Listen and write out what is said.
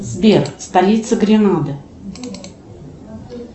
сбер столица гренады